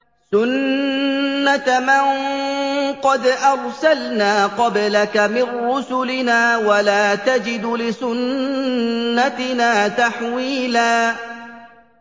سُنَّةَ مَن قَدْ أَرْسَلْنَا قَبْلَكَ مِن رُّسُلِنَا ۖ وَلَا تَجِدُ لِسُنَّتِنَا تَحْوِيلًا